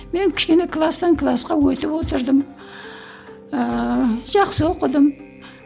мен кішкене кластан класқа өтіп отырдым ыыы жақсы оқыдым